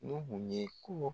Nuhun ye ko